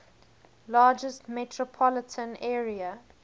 largest metropolitan area